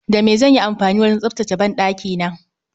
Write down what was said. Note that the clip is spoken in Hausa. Da me zanyi amfani wajen tsaftace banɗakina?